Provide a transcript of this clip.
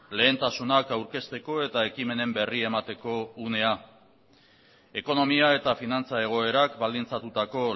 lehentasunak aurkezteko eta ekimenen berri emateko unea ekonomia eta finantza egoerak baldintzatutako